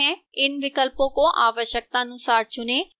इन विकल्पों को आवश्यकतानुसार चुनें